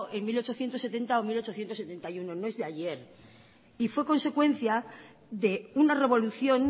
en mil ochocientos setenta o mil ochocientos setenta y uno no es de ayer y fue consecuencia de una revolución